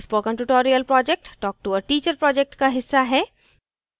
spoken tutorial project talktoa teacher project का हिस्सा है